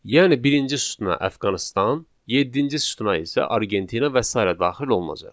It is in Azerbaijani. Yəni birinci sütuna Əfqanıstan, yeddinci sütuna isə Argentina və sairə daxil olunacaq.